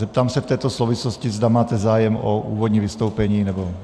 Zeptám se v této souvislosti, zda máte zájem o úvodní vystoupení, nebo...